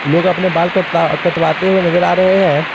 लोग अपने बाल कटता कटवाते हुए नजर आ रहे हैं।